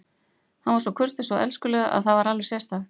Hann var svo kurteis og elskulegur að það var alveg sérstakt.